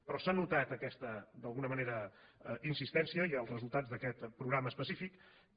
però s’ha notat aquesta d’alguna manera insistència i els resultats d’aquest programa específic que